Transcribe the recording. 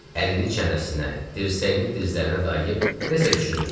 Əlini çənəsinə, dirsəyini dizlərinə dayıyıb nəsə düşünürdü.